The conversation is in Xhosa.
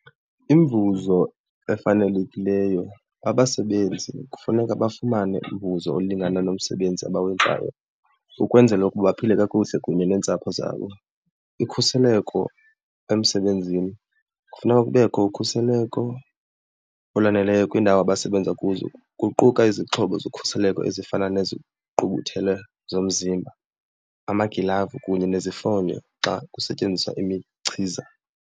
Imivuzo efanelekileyo, abasebenzi kufuneka bafumane umvuzo olingana nomsebenzi abawenzayo ukwenzela ukuba baphile kakuhle kunye neentsapho zabo. Ukhuseleko emsebenzini, kufuneka kubekho ukhuseleko olwaneleyo kwiindawo abasebenza kuzo kuquka izixhobo zokhuseleko ezifana nezigqubuthelo zomzimba, amagilavu kunye nezifonyo xa kusetyenziswa imichiza.